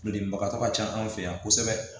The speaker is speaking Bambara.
Denbagatɔ ka ca anw fɛ yan kosɛbɛ